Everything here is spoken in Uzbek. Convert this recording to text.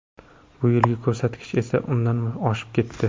Bu yilgi ko‘rsatkich esa undan oshib ketdi.